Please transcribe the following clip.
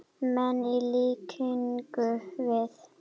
menn, í líkingu við.